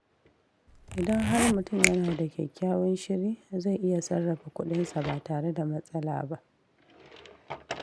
Idan har mutum yana da kyakkyawan shiri, zai iya sarrafa kudinsa ba tare da matsala ba.